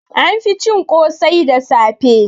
An fi cin ƙosai da safe